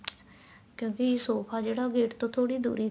ਕਿਉਂਕਿ ਸੋਫ਼ਾ ਜਿਹੜਾ gate ਤੋ ਥੋੜੀ ਜੀ ਦੂਰੀ ਤੇ